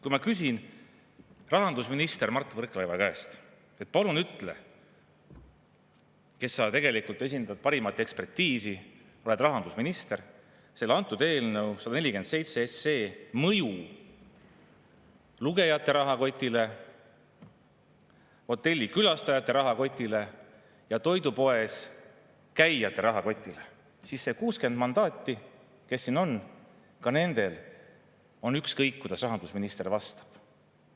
Kui ma küsin rahandusminister Mart Võrklaevalt, kes tegelikult esindab parimat ekspertiisi, on rahandusminister, missugune on selle eelnõu 147 mõju lugejate rahakotile, hotellikülastajate rahakotile ja toidupoes käijate rahakotile, seega on ka nendel 60 mandaadi saanul, kes siin on, ükskõik, kuidas rahandusminister vastab.